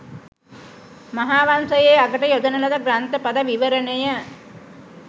මහාවංසයේ අගට යොදන ලද ග්‍රන්ථ පද විවරණය